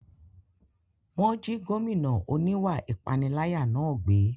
Wọ́n jí gómìnà oníwà ìpániláyà náà gbé